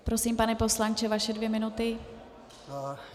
Prosím, pane poslanče, vaše dvě minuty.